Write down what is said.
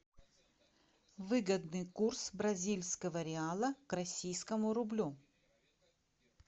выгодный курс бразильского реала к российскому рублю